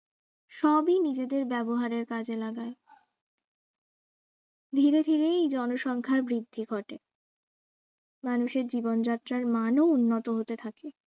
সবই নিজেদের ব্যবহারের কাজে লাগায় ধীরে ধীরে জনসংখ্যার বৃদ্ধি ঘটে মানুষের জীবন যাত্রার মান ও উন্নত হতে থাকে